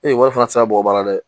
Ee wari fana tɛ se ka bɔgɔ baara dɛ